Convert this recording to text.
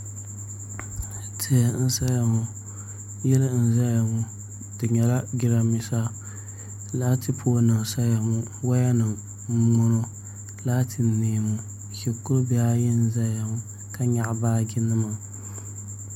Tihi n saya ŋo yili n ʒɛya ŋo di nyɛla jiranbiisa laati poll nim n saya ŋo woya nim n boŋo laati n nee ŋo shikuru bihi ayi n ʒɛya ŋo ka nyaɣa baaji nima